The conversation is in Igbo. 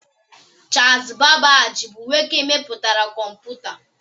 Charles Babbage bụ nwoke mepụtara kọmputa